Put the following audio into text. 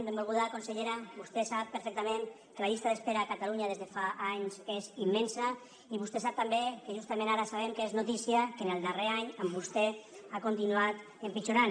benvolguda consellera vostè sap perfectament que la llista d’espera a catalunya des de fa anys és immensa i vostè sap també que justament ara sabem que és notícia que en el darrer any amb vostè ha continuat empitjorant